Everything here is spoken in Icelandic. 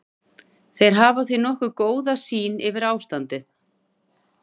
Þeir hafa því nokkuð góða sýn yfir ástandið.